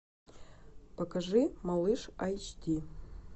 покажи малыш айч ди